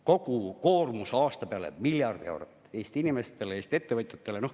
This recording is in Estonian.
Kogu koormus miljard eurot – Eesti inimestele, Eesti ettevõtjatele.